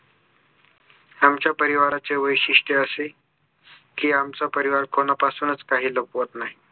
आमच्या परिवाराचे वैशिष्ट्य असे कि आमचा परिवार कोणापासूनच काही लपवत नाही